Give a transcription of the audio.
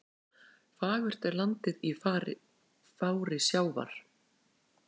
Fagurt er landið í fári sjávar.